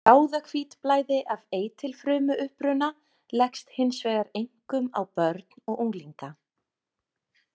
Bráðahvítblæði af eitilfrumuuppruna leggst hins vegar einkum á börn og unglinga.